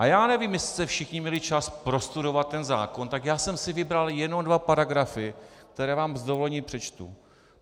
A já nevím, jestli jste všichni měli čas prostudovat ten zákon, tak já jsem si vybral jenom dva paragrafy, které vám s dovolením přečtu.